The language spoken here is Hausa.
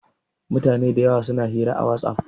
Mutane da yawa suna hira a WhatsApp.